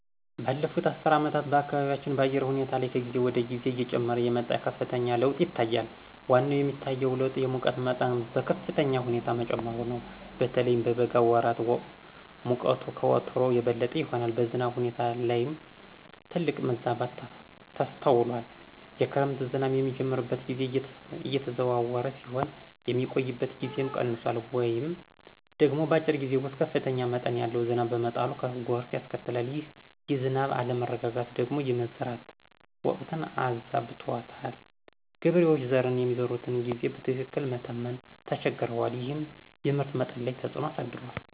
ባለፉት አስርት ዓመታት በአካባቢያችን በአየር ሁኔታ ላይ ከጊዜ ወደ ጊዜ እየጨመረ የመጣ ከፍተኛ ለውጥ ይታያል። ዋነኛው የሚታየው ለውጥ የሙቀት መጠኑ በከፍተኛ ሁኔታ መጨመሩ ነው። በተለይም በበጋ ወራት ሙቀቱ ከወትሮው የበለጠ ይሆናል። በዝናብ ሁኔታ ላይም ትልቅ መዛባት ተስተውሏል። የክረምት ዝናብ የሚጀምርበት ጊዜ እየተዘዋወረ ሲሆን፣ የሚቆይበት ጊዜም ቀንሷል ወይም ደግሞ በአጭር ጊዜ ውስጥ ከፍተኛ መጠን ያለው ዝናብ በመጣሉ ጎርፍ ያስከትላል። ይህ የዝናብ አለመረጋጋት ደግሞ የመዝራት ወቅትን አዛብቶታል። ገበሬዎች ዘርን የሚዘሩበትን ጊዜ በትክክል መተመን ተቸግረዋል፤ ይህም የምርት መጠን ላይ ተፅዕኖ አሳድሯል።